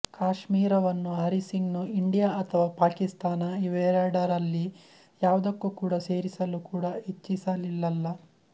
ಕಾಶ್ಮೀರವನ್ನು ಹರಿಸಿಂಗ್ ನು ಇಂಡಿಯಾ ಅಥವಾ ಪಾಕಿಸ್ತಾನ ಇವೆರಡರಲ್ಲಿ ಯಾವುದಕ್ಕೂ ಸೇರಿಸಲು ಕೂಡ ಇಚ್ಚಿಸಲಿಲಲ್ಲ